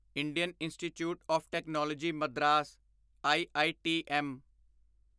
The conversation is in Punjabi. Indian Institute of Technology Madras IITM